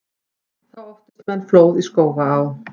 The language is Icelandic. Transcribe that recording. Þá óttist menn flóð í Skógaá.